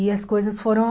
E as coisas foram...